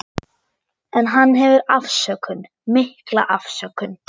En hann hefur afsökun, mikla afsökun.